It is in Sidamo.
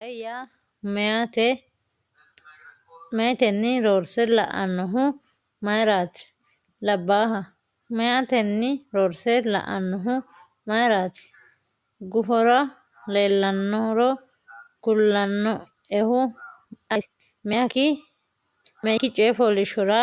“Ba’ino qae” yaa meyaatenni roorse la”annohu mayraati? labbaaha meyaatenni roorse la”anohu mayraati? gufora leellannoro kulannoehu ayeeti? Meyikki coy fooliishshora